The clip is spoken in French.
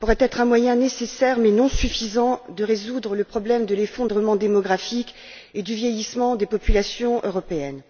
pourrait être un moyen nécessaire mais non suffisant de résoudre le problème de l'effondrement démographique et du vieillissement des populations européennes.